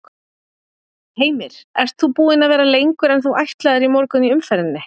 Heimir: Ert þú búin að vera lengur en þú ætlaðir í morgun í umferðinni?